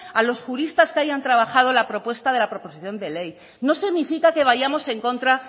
a los juristas que hayan trabajado la propuesta de la proposición de ley no significa que vayamos en contra